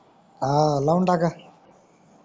हव लाऊन टाका